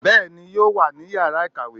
bẹẹni yóò wa ni ìyára ikáwe